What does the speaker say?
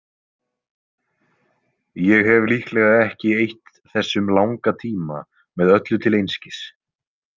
Ég hef líklega ekki eytt þessum langa tíma með öllu til einskis.